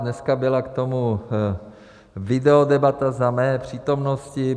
Dneska byla k tomu videodebata za mé přítomnosti.